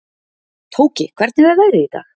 Tóki, hvernig er veðrið í dag?